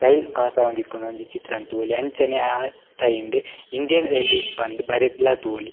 Rail pass ಆವೊಂದಿಪ್ಪುನ ಒಂಜಿ ಚಿತ್ರನ್ ತೂವೊಲಿ ಅಂಚನೆ ಅ ರೈಲ್ ಡ್ ಇಂಡಿಯನ್ ರೈಲ್ವೇಸ್ ಪಂದ್ ಬರೆದ್ಲ ತೂವೊಲಿ.